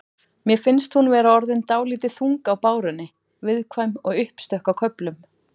Mér finnst hún vera orðin dálítið þung á bárunni. viðkvæm og uppstökk á köflum.